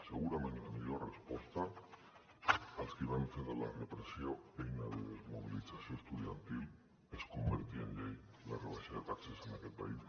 segurament la millor resposta als que van fer de la repressió eina de desmobilització estudiantil és convertir en llei la rebaixa de taxes en aquest país